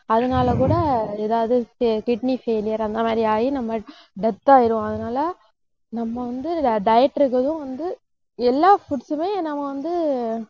அதனால கூட ஏதாவது தெ~ kidney failure அந்த மாதிரி ஆயி நம்ம death ஆயிடுவோம். அதனால நம்ம வந்து diet இருக்கிறதும் வந்து எல்லா foods மே நம்ம வந்து